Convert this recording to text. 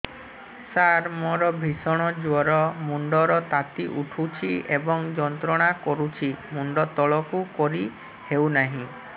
ସାର ମୋର ଭୀଷଣ ଜ୍ଵର ମୁଣ୍ଡ ର ତାତି ଉଠୁଛି ଏବଂ ଯନ୍ତ୍ରଣା କରୁଛି ମୁଣ୍ଡ ତଳକୁ କରି ହେଉନାହିଁ